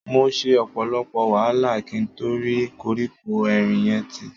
Mo ṣe ọ̀pọ̀lọpọ̀ wàhálà kí n to rí koríko erin yẹn tí.